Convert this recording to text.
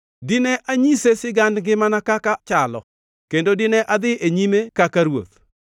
Dine anyise sigand ngimana kaka chalo; kendo dine adhi e nyime kaka ruoth.